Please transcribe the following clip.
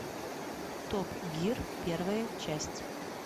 топ гир первая часть